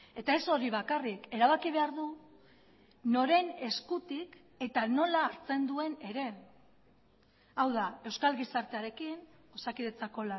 eta ez hori bakarrik erabaki behar du noren eskutik eta nola hartzen duen ere hau da euskal gizartearekin osakidetzako